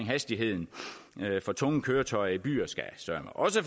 at hastigheden for tunge køretøjer i byer søreme også